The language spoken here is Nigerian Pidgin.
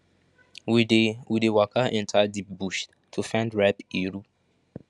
we dey we dey waka enter deep bush to find ripe iru